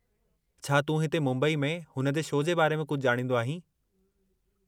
छा तूं हिते मुंबई में हुन जे शो जे बारे में कुझु ॼाणींदो आहीं?